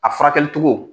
A furakɛli cogo